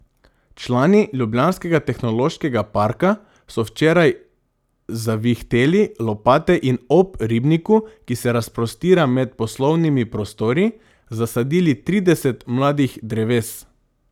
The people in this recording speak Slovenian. Člani ljubljanskega Tehnološkega parka so včeraj zavihteli lopate in ob ribniku, ki se razprostira med poslovnimi prostori, zasadili trideset mladih dreves.